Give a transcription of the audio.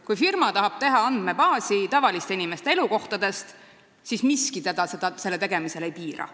Kui firma tahab teha andmebaasi tavaliste inimeste elukohtadest, siis miski teda selle tegemisel ei piira.